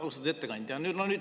Austatud ettekandja!